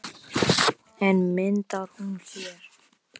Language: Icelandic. En myndar hún hér?